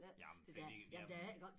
Jamen fordi jamen